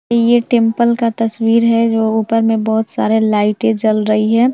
ये टेम्पल का तस्वीर है जो ऊपर मे बहुत सारे लाइटें जल रही है।